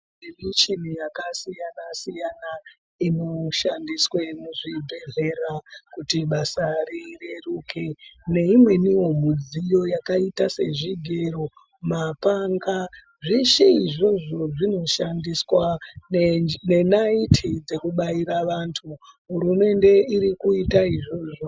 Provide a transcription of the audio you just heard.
Kune michini yakasiyana-siyana inoshandiswa muzvibhehlera kuti basa rireruke. Neimweniwo midziyo yakaita sezvigero, mapanga, zveshe izvozvo zvinoshandiswa nenaiti dzekubaira vantu, hurumende irikuita izvozvo.